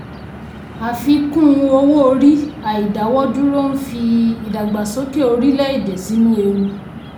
àfikún owó orí àìdáwọ́ dúró ń fi ìdàgbàsókè orílẹ̀-èdè sínú ewu.